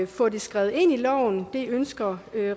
få det skrevet ind i loven men det ønsker